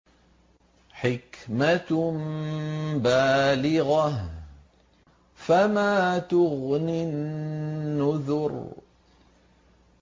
حِكْمَةٌ بَالِغَةٌ ۖ فَمَا تُغْنِ النُّذُرُ